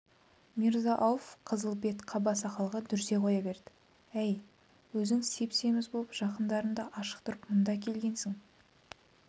мирза-ауф қызыл бет қаба сақалға дүрсе қоя берді әй өзің сеп-семіз болып жақындарыңды ашықтырып мұнда әкелгенсің